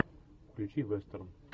включи вестерн